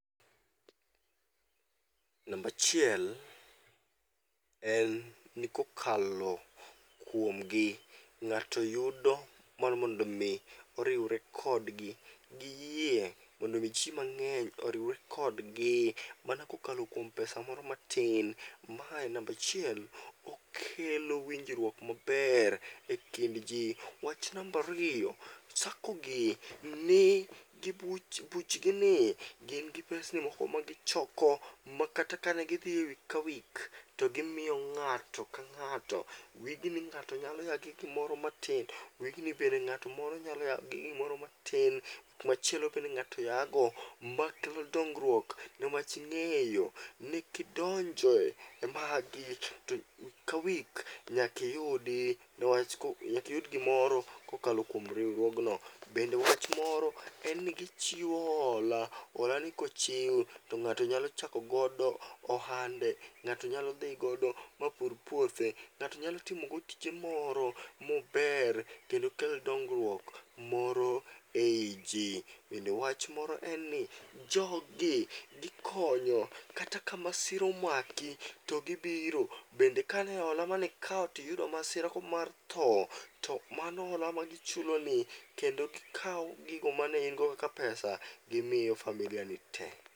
Nambachiel en ni kokalo kuomgi ng'ato yudo mar mondo mi oriwre kodgi giyie mondo mi ji mang'eny oriwre kodgi, mana kokalo kuom pesa moro matin. Mae nambachiel, okelo winjruok maber e kind ji. Wach nambariyo, sakogi ni gi buch, buchgi ni gin gi pesni ma gichoko ma kata ka ne gidhi e wik ka wik, to gimiyo ng'ato ka ng'ato. Wigni ng'ato nyalo ya gi gimoro matin, wigni bende ng'at moro nyalo ya gi gimoro matin, wik machielo bende ng'ato yago. Ma kelo dongruok newach ing'eyo newach ng'eyo ni kidonje magi to wik ka wik nyakiyudi, newach nyakiyud gimoro kokalo kuom riwruogno. Bende wach moro en ni gichiwo hola, hola ni kochiw to ng'ato nyalo chakogodo ohande, ng'ato nyalo dhi godo ma pur puothe. Ng'ato nyalo timogo tije moro mober kendo kel dongruok moro ei ji. Bende wach moro en ni jogi gikonyo kata ka masira omaki, to gibiro. Bende kane hole mane hola manikawo tiyudo masira ko mar tho, to mano hola ma gichuloni kendo gikawo gigo mane in go kaka pesa gimiyo familia ni te.